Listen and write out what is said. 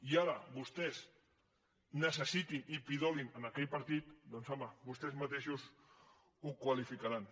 i ara vostès necessitin i pidolin a aquell partit doncs home vostès mateixos ho qualificaran